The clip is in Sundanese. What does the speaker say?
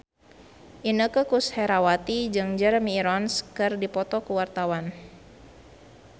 Inneke Koesherawati jeung Jeremy Irons keur dipoto ku wartawan